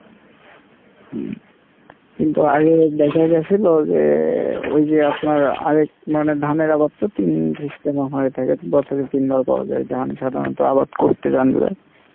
হম কিন্তু সিলো যে ওইযে আপনার আরেক মানে ধানের আবাদ তো তিন system এ হয়ে থাকে বছরে তিনবার পাওয়া যাই ধান সাধারণত আবাদ করতে জানলে,